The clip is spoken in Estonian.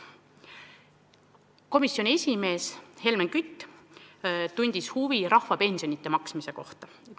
Komisjoni esimees Helmen Kütt tundis huvi rahvapensionide maksmise vastu.